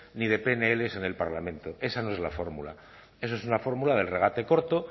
ni de pnl en el parlamento esa no es la fórmula eso es una fórmula del regate corto